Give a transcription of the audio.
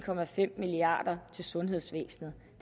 milliard kroner til sundhedsvæsenet